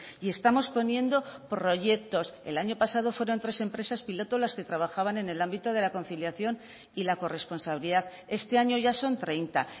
y estamos poniendo proyectos el año pasado fueron tres empresas piloto las que trabajaban en el ámbito de la conciliación y la corresponsabilidad este año ya son treinta